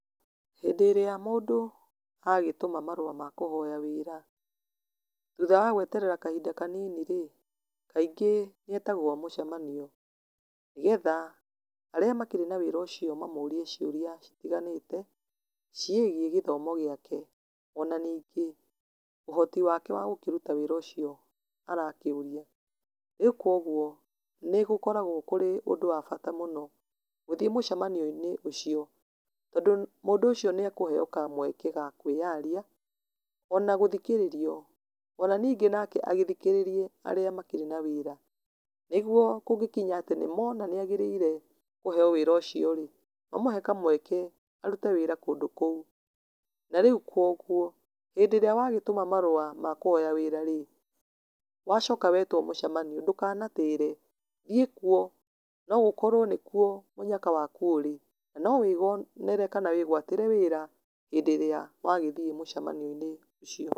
Hĩndĩ ĩrĩa mũndũ agĩtũma marũa makũhoya wĩra, thutha wagweterera kahinda kanini rĩ, kaingĩ nĩ etagwo mũcemanio, nĩ getha arĩa makĩrĩ na wĩra ũcio mamũrie ciũria citiganĩte, ciĩgiĩ gĩthomo gĩake, ona ningi ũhoti wake wa gũkĩruta wĩra ũcio arakĩũria, rĩu koguo nĩ gũgĩkoragwo kũrĩ ũndũ wabata mũno, gũthiĩ mũcemanio-inĩ ũcio, tondũ mũndũ ũcio nĩ ekũheyo kamweke gakwĩyaria, ona gũthikĩrĩrio, ona ningĩ nake agĩthikĩrĩrie arĩa makĩrĩ na wĩra, nĩguo kũngĩkinya atĩ nĩmona nĩagĩrĩire kũheyo wĩra ũcio rĩ, mamũhe kamweke arute wĩra kũndũ kũu, na rĩu kogwo, hĩndĩrĩa wagĩtũma marũa makũhoya wĩra rĩ, wacoka wetwo mũcemanio ndukanatĩre, thiĩ kuo, nogukorwo nĩkuo mũnyaka waku ũrĩ, nanowĩyonere kana wĩgwatĩre wĩra, hĩndĩrĩa wagĩthiĩ mũcemanio-inĩ ũcio.